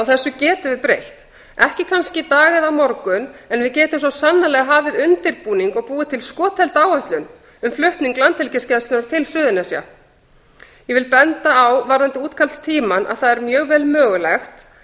getum við breytt ekki kannski í dag eða á morgun en við getum svo sannarlega hafið undirbúning og búið til skothelda áætlun um flutning landhelgisgæslunnar til suðurnesja ég vil benda á varðandi útkallstímann að það er mjög vel mögulegt þar